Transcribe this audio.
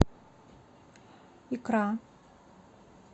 икра